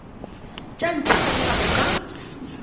tša ntshe monna o ka